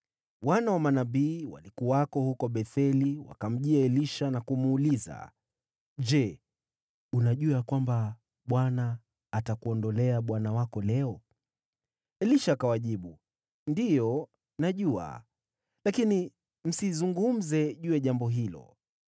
Wana wa manabii waliokuwako huko Betheli wakamjia Elisha na kumuuliza, “Je, unajua ya kwamba Bwana atakuondolea bwana wako leo?” Elisha akawajibu, “Ndiyo, najua, lakini msizungumze juu ya jambo hilo.”